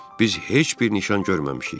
Biz heç bir nişan görməmişik.